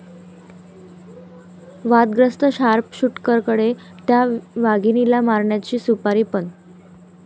वादग्रस्त शार्पशूटरकडे 'त्या' वाघिणीला मारण्याची सुपारी, पण...!